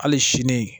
Hali sini